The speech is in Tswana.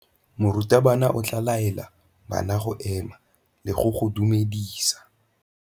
Morutabana o tla laela bana go ema le go go dumedisa.